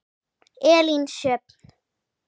Elín Sjöfn.